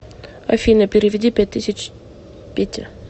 афина переведи пять тысяч пете